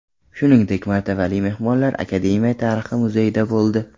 Shuningdek, martabali mehmonlar Akademiya tarixi muzeyida bo‘ldi.